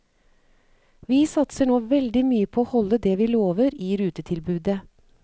Vi satser nå veldig mye på å holde det vi lover i rutetilbudet.